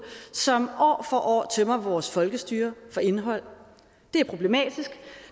som år for år tømmer vores folkestyre for indhold det er problematisk